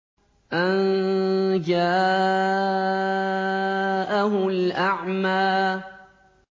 أَن جَاءَهُ الْأَعْمَىٰ